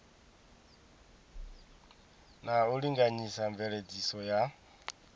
na u linganyisa mveledziso ya